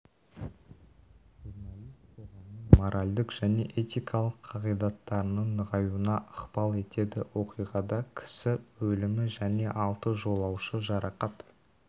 журналист қоғамның моральдық және этикалық қағидаттарының нығаюына ықпал етеді оқиғада кісі өлімі және алты жолаушы жарақат